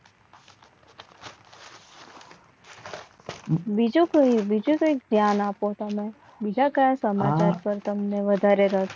બીજું કંઈક બીજું કંઈ ધ્યાન આપો તમે બીજા કયા સમાચાર પર તમને વધારે રસ